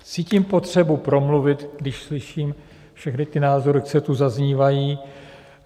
Cítím potřebu promluvit, když slyším všechny ty názory, co tu zaznívají.